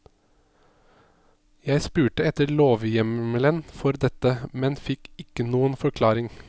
Jeg spurte etter lovhjemmelen for dette, men fikk ikke noen forklaring.